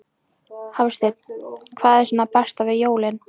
Hafsteinn: Hvað er svo það besta við jólin?